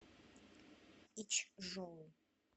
ичжоу